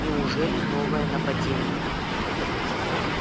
неужели новое нападение